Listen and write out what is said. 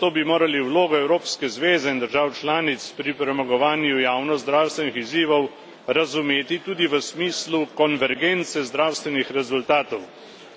Zato bi morali vlogo Evropske zveze in držav članic pri premagovanju javnozdravstvenih izzivov razumeti tudi v smislu konvergence zdravstvenih rezultatov.